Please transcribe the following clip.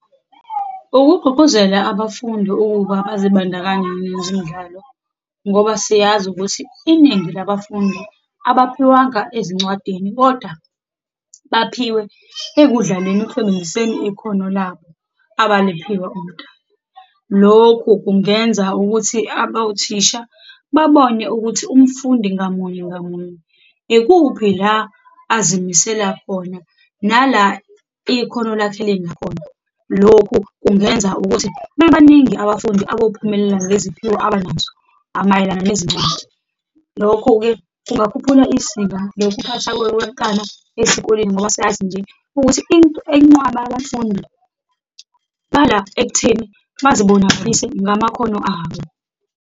Ukugqugquzela abafundi ukuba bazibandakanye nezemidlalo, ngoba siyazi ukuthi iningi labafundi abaphiwanga ezincwadini, kodwa baphiwe ekudlaleni, ekusebenziseni ikhona labo abaliphiwa uMdali. Lokhu kungenza ukuthi abawuthisha babone ukuthi umfundi ngamunye ngamunye, ikuphi la azimisela khona, nala ikhono lakhe lingakhona. Lokhu kungenza ukuthi babaningi abafundi abophumelela neziphiwo abanazo mayelana nezingcwadi. Lokho-ke kungakhuphula isika lokuphathwa kowenkanu esikoleni, ngoba siyazi nje ukuthi into eyinqwaba yabafundi iqala ekutheni bazibonakalise ngamakhono abo.